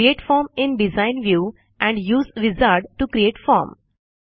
create form in design view and use wizard to create form